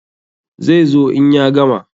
Zai zo in ya gama.